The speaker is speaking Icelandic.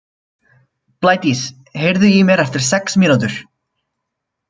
Blædís, heyrðu í mér eftir sex mínútur.